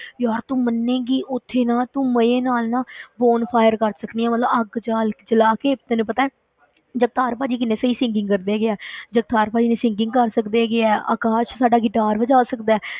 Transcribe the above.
ਯਾਰ ਤੂੰ ਮੰਨੇਗੀ ਉੱਥੇ ਨਾ ਤੂੰ ਮਜ਼ੇ ਨਾਲ ਨਾ bonfire ਕਰ ਸਕਦੀ ਆਂ ਮਤਲਬ ਅੱਗ ਜਾਲ ਜਲਾ ਕੇ ਤੈਨੂੰ ਪਤਾ ਹੈ ਜਗਤਾਰ ਭਾਜੀ ਕਿੰਨੇ ਸਹੀ singing ਕਰਦੇ ਹੈਗੇ ਆ ਜਗਤਾਰ ਭਾਜੀ ਨੇ singing ਕਰ ਸਕਦੇ ਹੈਗੇ ਹੈ, ਅਕਾਸ਼ ਸਾਡਾ guitar ਬਜਾ ਸਕਦਾ ਹੈ,